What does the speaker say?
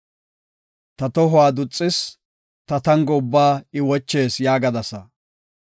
Ta tohuwa duxis; ta tango ubbaa I wochees” yaagadasa.